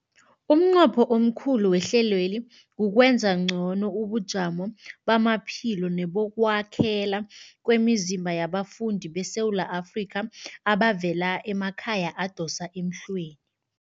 Umnqopho omkhulu wehlelweli kukwenza ngcono ubujamo bamaphilo nebokwakhela kwemizimba yabafundi beSewula Afrika abavela emakhaya adosa emhlweni.